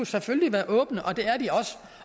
selvfølgelig være åbne